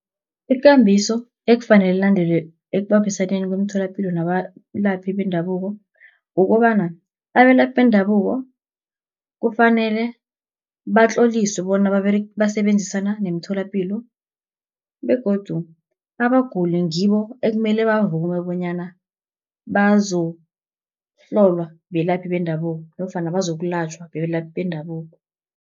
Ikambiso ekufanele ilandelwe ekubambisaneni kwemitholampilo nabalaphi bendabuko, kukobana abelaphi bendabuko kufanele batloliswe bona basebenzisana nemitholapilo, begodu abaguli ngibo ekumele bavume bonyana bazokuhlolwa belaphi bendabuko, nofana bazokulatjhwa belaphi bendabuko.